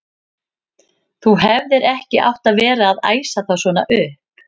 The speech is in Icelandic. Þú hefðir ekki átt að vera að æsa þá svona upp!